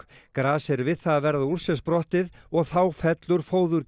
gras er við það að verða úr sér sprottið og þá fellur